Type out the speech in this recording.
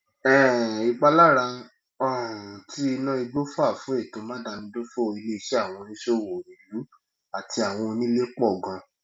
um ìpalára um tí iná igbó fà fún ètò máadámidófò ilé iṣẹ àwọn oníṣòwò ìlú àti àwọn onílè pọ ganan